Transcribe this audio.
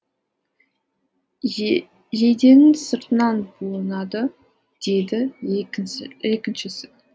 жейденің сыртынан буынады деді екіншісі